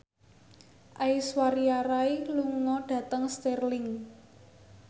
Aishwarya Rai lunga dhateng Stirling